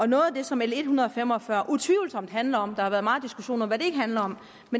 noget af det som l en hundrede og fem og fyrre utvivlsomt handler om der har været meget diskussion om hvad det ikke handler om